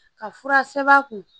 Ka fura sɛbɛn a kun